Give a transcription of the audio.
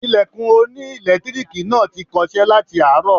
Ilẹ̀kùn oní ẹ̀lẹ́tíríìkì náà ti kọṣẹ́ láti àárọ̀.